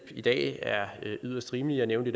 i dag er yderst rimelige jeg nævnte